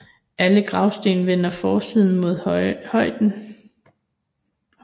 Alle gravsten vender forsiden mod højen